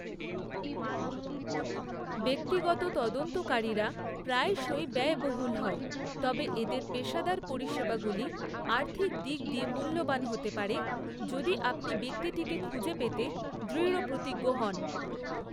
ব্যক্তিগত তদন্তকারীরা প্রায়শই ব্যয়বহুল হয়, তবে এদের পেশাদার পরিষেবাগুলি আর্থিক দিক দিয়ে মূল্যবান হতে পারে, যদি আপনি ব্যক্তিটিকে খুঁজে পেতে দৃঢ়প্রতিজ্ঞ হন।